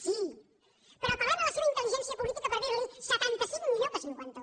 sí però apel·lem a la seva intel·li gència política per dir li setanta cinc millor que cinquanta un